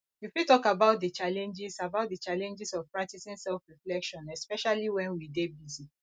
you fit talk about di challenges about di challenges of practicing selfreflection especially when we dey busy